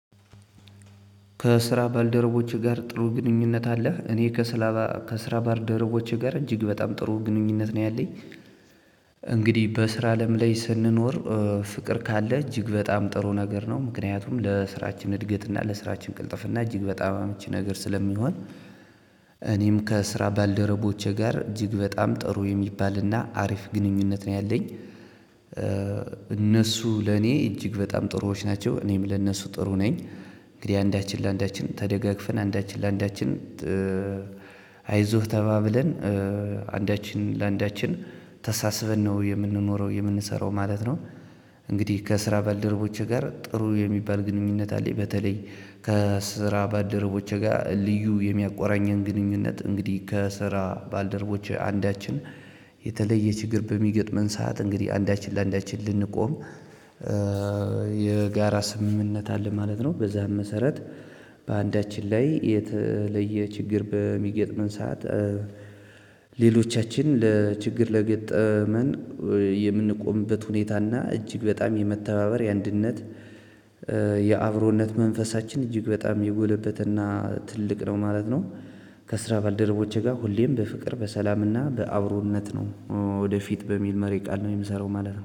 ከስራ ባልደረቦቼ ጋር ጥሩ ግንኙነት አለህ? እኔ ከስራ ከስራ ባልደረቦቼ ጋር እጅግ በጣም ጥሩ ግንኙነት ነው ያለኝ። እንግዲህ በስራ አለም ላይ ስንኖር ፍቅር ካለ እጅግ በጣም ጥሩ ነገር ነው ምክንያቱም ለስራችን እድገት እና ለስራችን ቅልጥፍ እና እጅግ በጣም አምች ነገር ስለሚሆን። እኔም ከስራ ባልደረቦቼ ጋር እጅግ በጣም ጥሩ የሚባልና አሪፍ ግንኙነት ነው ያለኝ። እነሱ ለኔ እጅግ በጣም ጥሩዎች ናቸው እኔም ለነሱ ጥሩ ነኝ። እንግዲህ አንዳችን ለአንዳችን ተደጋግፈን አንዳችን ለአንዳችን። አይዞህ ተባብለን። አንዳችን ለአንዳችን ተሳስበን ነው የምንኖረው የምንሰራው ማለት ነው፣ እንግዲህ ከስራ ባልደረቦቼ ጋር ጥሩ የሚባል ግንኙነት አለኝ በተለይ። ከስራ ባልደረቦቼ ጋር ልዩ የሚያቆራኘን ግንኙነት እንግዲህ ከስራ ባልደረቦች አንዳችን የተለየ ችግር በሚገጥመን ሰዓት እንግዲህ አንዳችን ለአንዳችን ልንቆም። የጋራ ስምምነት አለ ማለት ነው በዛም መሰረት። በአንዳችን ላይ የተለየ ችግር በሚገጥመን ሰዓት። ሌሎቻችን ለችግር ለገጠመን የምንቆምበት ሁኔታ እና እጅግ በጣም የመተባበር የአንድነት የአንድነት። የአብሮነት መንፈሳችን እጅግ በጣም የጎለበትና ትልቅ ነው ማለት ነው። ከስራ ባልደረቦቼ ጋር ሁሌም በፍቅር በሰላምና በአብሮነት ነው። ወደ ፊት በሚል መሪ ቃል የምሰራው ማለት ነው።